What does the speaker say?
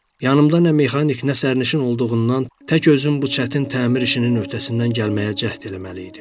Yanımda nə mexanik nə sərnişin olduğundan tək özüm bu çətin təmir işinin öhdəsindən gəlməyə cəhd eləməliydim.